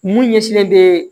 Mun ɲɛsinnen bɛ